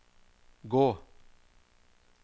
gå